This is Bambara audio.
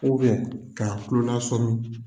ka kulona sɔmi.